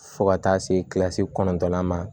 Fo ka taa se kilasi kɔnɔntɔnnan ma